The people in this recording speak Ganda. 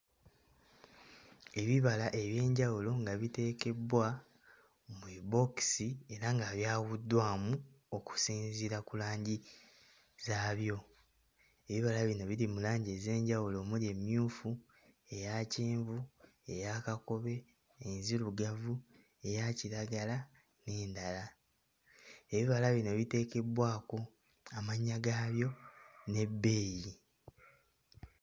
Ebibala eby'enjawulo nga biteekebbwa mu bibookisi era nga byawuddwamu okusinziira ku langi zaabyo ebibala bino biri mu langi ez'enjawulo omuli emmyufu, eya kyenvu, eya kakobe, enzirugavu, eya kiragala n'endala ebibala bino biteekebbwako amannya gaabyo n'ebbeeyi.